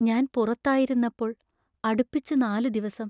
ഞാൻ പുറത്തായിരുന്നപ്പോൾ അടുപ്പിച്ചു നാലു ദിവസം